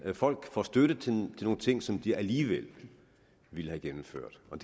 folk får støtte til nogle ting som de alligevel ville have gennemført og